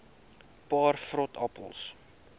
paar vrot appels